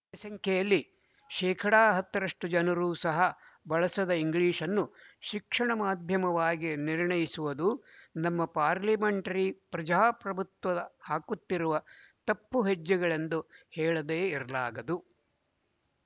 ಸಂಖ್ಯೆಯಲ್ಲಿ ಶೇಕಡಾ ಹತ್ತು ರಷ್ಟು ಜನರೂ ಸಹ ಬಳಸದ ಇಂಗ್ಲಿಶ್‌ನ್ನು ಶಿಕ್ಷಣ ಮಾಧ್ಯಮವಾಗಿ ನಿರ್ಣಯಿಸುವುದು ನಮ್ಮ ಪಾರ್ಲಿಮೆಂಟರಿ ಪ್ರಜಾಪ್ರಭುತ್ವ ಹಾಕುತ್ತಿರುವ ತಪ್ಪು ಹೆಜ್ಜೆಗಳೆಂದು ಹೇಳದೆ ಇರಲಾಗದು